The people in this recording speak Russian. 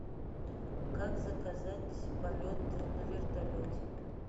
как заказать полеты на вертолете